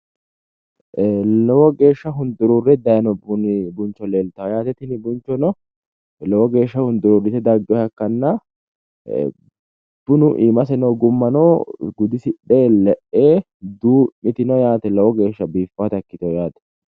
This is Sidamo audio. Ee lowo geeshsha hunduruure dayino buni buncho leeltawo tini bunchono lowo geeshsha hunduruurrite daggino yaate bunu iimase noo gummano gudisidhe le'e duu'mitino yaate lowo geeshsha biiffawota ikkitino yaate.